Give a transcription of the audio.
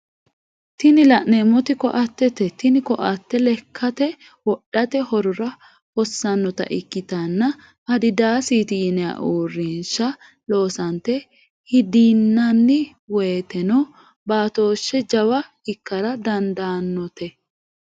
tini la'neemoti ko"attete tini ko"attete lekkate wodhate horora hossanota ikkitanna adidasete yinayi uurinsha loosanote hidinanni woyeeteno batooshise jawa ikkara dandadaanote.